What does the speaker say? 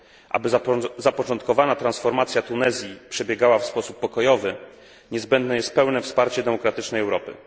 Aby zapoczątkowana transformacja Tunezji przebiegała w sposób pokojowy niezbędne jest pełne wsparcie demokratycznej Europy.